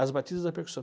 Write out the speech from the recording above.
As batidas da percussão.